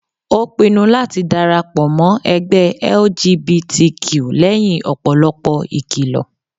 Ó pinnu láti dára pọ̀ mọ́ ẹgbẹ́ LGBTQ lẹ́yìn ọ̀pọ̀lọpọ̀ ìkìlọ